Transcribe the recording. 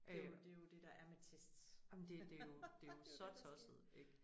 Øh ej men det jo det jo så tosset ik